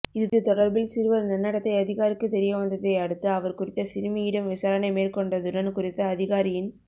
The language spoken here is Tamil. இது தொடர்பில் சிறுவர் நன்னடத்தை அதிகாரிக்குத் தெரியவந்ததை அடுத்து அவர் குறித்த சிறுமியிடம் விசாரணை மேற்கொண்டதுடன் குறித்த அதிகாரியின்